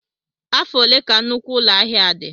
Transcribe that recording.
Afọ ole ka nnukwu ụlọ ahịa a dị?